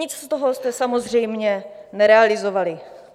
Nic z toho jste samozřejmě nerealizovali.